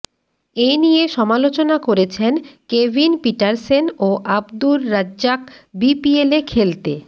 এ নিয়ে সমালোচনা করেছেন কেভিন পিটারসেন ও আবদুর রাজ্জাক বিপিএলে খেলতে